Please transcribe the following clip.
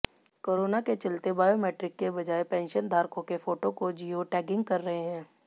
corona के चलते biometric के बजाय पेंशनधारकों के फोटों को जियो टैगिंग कर रहे हैं